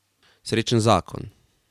Srečen zakon.